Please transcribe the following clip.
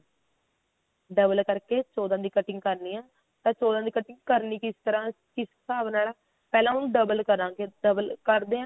double ਕਰਕੇ ਚੋਦਾਂ ਦੀ cutting ਕਰਨੀ ਆ ਚੋਦਾਂ ਦੀ cutting ਕਰਨੀ ਕਿਸ ਤਰ੍ਹਾਂ ਕਿਸ ਸਾਬ ਨਾਲ ਆ ਪਹਿਲਾਂ ਉਹਨੂੰ double ਕਰਾਂਗੇ double ਕਰਦੇ ਆਂ